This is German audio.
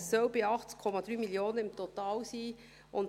Es sollen im Total 78,3 Mio. Franken sein.